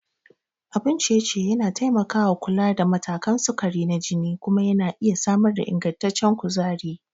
Abun ciye-ciye yana taimakawa kula da matakan sukari na jini kuma yana iya samar da ingantaccen kuzari.